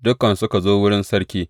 Dukansu suka zo wurin sarki.